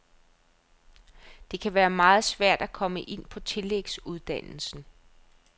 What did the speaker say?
Det kan være meget svært at komme ind på tillægsuddannelsen.